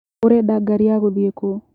ũrenda gari ya gũthie kũũ.